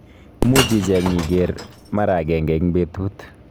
Muuch icheng akiker mara akenge eng petut